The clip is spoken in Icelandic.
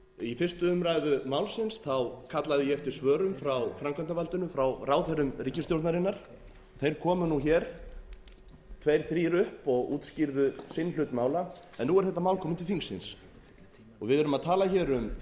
í fyrstu umræðu málsins kallaði ég eftir svörum frá framkvæmdarvaldinu frá ráðherrum ríkisstjórnarinnar þeir komu hér tveir þrír upp og útskýrðu sinn hlut mála en nú er þetta mál komið til þingsins og við erum að tala hér um